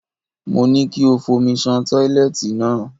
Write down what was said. Mo ní kí o fomi ṣan tọ́ílẹ́ẹ̀tì náà.